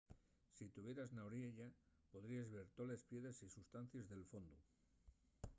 si tuvieras na oriella podríes ver toles piedres y sustancies del fondu